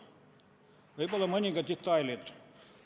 Võib-olla mõningad detailid.